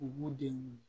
U b'u denw